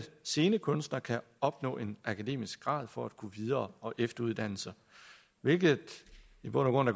scenekunstnere kan opnå en akademisk grad for at gå videre og efteruddanne sig hvilket i bund og